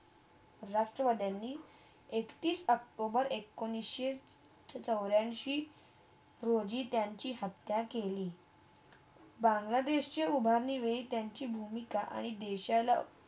राष्ट्रावधाणी एकतीस ऑक्टोबर एकोणीस चौर्‍यासी रोजी त्यांची हत्या केली बंगलादेशच्या उभारणेवही त्यांची भूमिका आणि देशाला